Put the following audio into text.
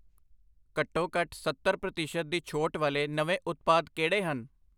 ਘੱਟੋ ਘੱਟ ਸੱਤਰ ਪ੍ਰਤੀਸ਼ਤ ਦੀ ਛੋਟ ਵਾਲੇ ਨਵੇਂ ਉਤਪਾਦ ਕਿਹੜੇ ਹਨ?